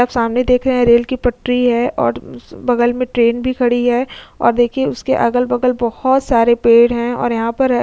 सामने देख रहे है रेल की पटरी है और बगल मे ट्रेन भी खड़ी है और देखिए उसके अगल-बगल मे बोहोत सारे पेड़ हैं। और यहां पर --